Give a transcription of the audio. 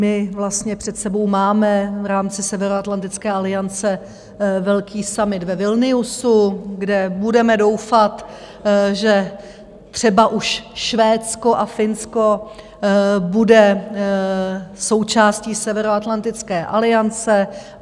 My vlastně před sebou máme v rámci Severoatlantické aliance velký summit ve Vilniusu, kde budeme doufat, že třeba už Švédsko a Finsko budou součástí Severoatlantické aliance.